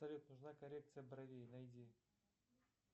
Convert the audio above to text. салют нужна коррекция бровей найди